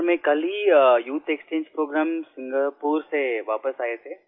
sir मैं कल ही यूथ एक्सचेंज प्रोग्राम सिंगापुर से वापिस आये थे